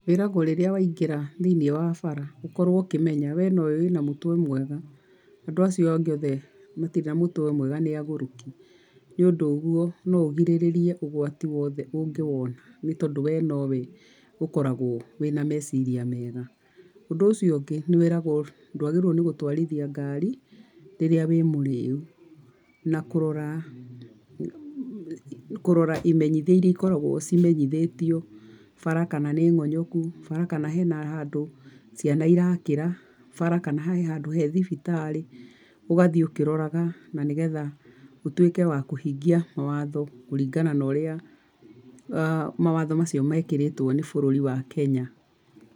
Wĩragwo rĩrĩa waingĩra thĩiniĩ wa bara ũkorwo ũkĩmenya we no we wĩna mũtwe mwega, andũ acio angĩ othe matirĩ na mũtwe mwega nĩ agũrũki, nĩ ũndũ ũguo no ũgirĩrĩrie ũgwati wothe ũngĩwona nĩ tondũ we no we ũkoragwo wĩ na meciria mega. Ũndũ ũcio ũngĩ nĩ wĩragwo ndwagĩrĩirwo nĩgũtwarithia ngari rĩrĩa wĩ mũriu. Na kũrora, kũrora imenyithia irĩa ikoragwo cimenyithĩtio, bara kana nĩ ng'onyoku, bara kana he na handũ ciana irakĩra, bara kana he na handũ he na thibitarĩ, ũgathiĩ ũkĩroraga na nĩgetha ũtuĩke wa kũhingia watho kũringana na ũrĩa mawatho macio mekĩrĩtwo nĩ bũrũri wa Kenya.